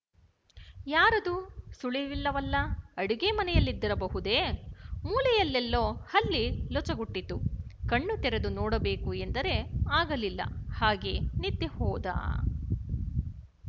ಯಾರದೂ ಸುಳಿವಿಲ್ಲವಲ್ಲ ಅಡಿಗೆಮನೆಯಲ್ಲಿದ್ದಿರಬಹುದೆ ಮೂಲೆಯಲ್ಲೆಲ್ಲೋ ಹಲ್ಲಿ ಲೊಚಗುಟ್ಟಿತು ಕಣ್ಣು ತೆರೆದು ನೋಡಬೇಕು ಎಂದರೆ ಆಗಲಿಲ್ಲ ಹಾಗೇ ನಿದ್ದೆಹೋದ